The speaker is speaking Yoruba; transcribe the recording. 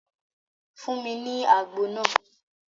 Fún mi ní àgbo náà